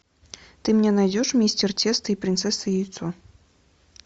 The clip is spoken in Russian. ты мне найдешь мистер тесто и принцесса яйцо